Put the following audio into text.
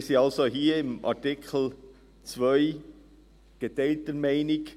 Wir sind also hier, beim Artikel 2, geteilter Meinung.